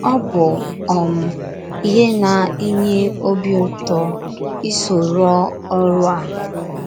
Ọ bụ um ihe na - enye obi ụtọ iso rụọ ọrụ a.